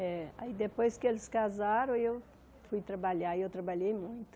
É. Aí depois que eles casaram, eu fui trabalhar e eu trabalhei muito.